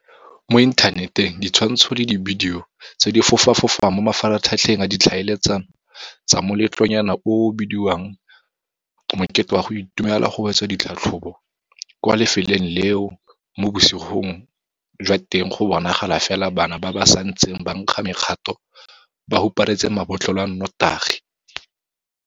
Mo inthaneteng ditshwantsho le dibidio tse di fofa fofang mo mafaratlhatlheng a ditlhaeletsano tsa moletlonyana oo o o bediwang mokete wa go itumelela go wetsa ditlhatlhobo kwa lefelong leo mo bosigong jwa teng go bonagala fela bana ba ba santseng ba nkga mekgato ba huparetse mabotlolo a notagi.